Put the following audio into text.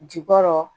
Jukɔrɔ